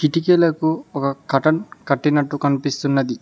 కిటికీలకు ఒక కర్టెన్ కట్టినట్టు కనిపిస్తున్నది.